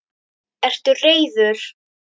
Ertu reiður?